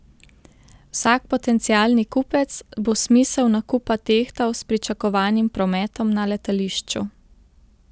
Vsak potencialni kupec bo smisel nakupa tehtal s pričakovanim prometom na letališču.